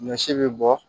Ɲɔ si bɛ bɔ